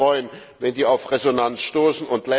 Wir würden uns freuen, wenn die auf Resonanz stoßen.